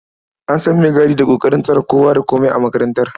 An san maigadi da ƙoƙarin tsare kowa da komai a makarantar.